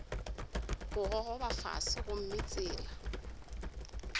go gogoba fase gomme tsela